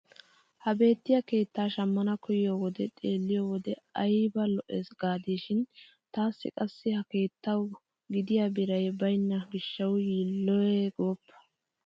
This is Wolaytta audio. Ha beettiyaa keettaa shammana koyiyoo wode xeelliyoo wode ayba lo"ees gaadishin taassi qassi ha keettawu gidiyaa biray banynna gishshawu yilloye gooppa!